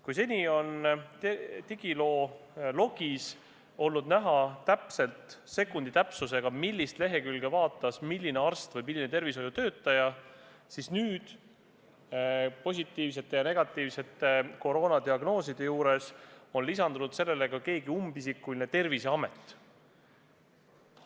Kui seni on digiloo logis olnud sekundi täpsusega näha, millist lehekülge konkreetne arst või muu tervishoiutöötaja vaatas, siis nüüd on positiivsete ja negatiivsete koroonadiagnooside juurde lisandunud ka keegi umbisikuline Terviseamet.